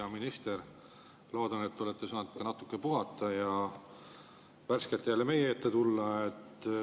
Hea minister, loodan, et te olete saanud ka natuke puhata ja nüüd olete värskena jälle meie ees.